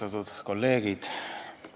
Austatud kolleegid!